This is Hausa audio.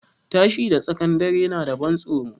Tashi da tsakan dare na da ban tsoro